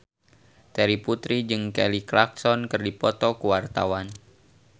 Terry Putri jeung Kelly Clarkson keur dipoto ku wartawan